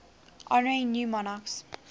honouring new monarchs